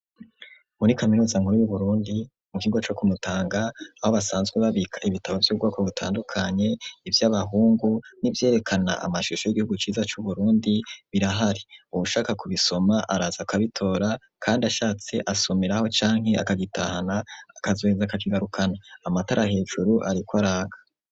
Muri kaminuza nkuru y'uburundi mu kiga co kumutanga aho basanzwe babika ibitabo by'ubgoko gutandukanye iby'abahungu n'ibyerekana amashusho y'igihugu ciza c'uburundi birahari ubushaka kubisoma araza kabitora kandi ashatse asomiraho cyanke akagitahana akazoheza kakigarukana amatara hejuru ariko araka.